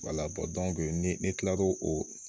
ni ne kila l'o o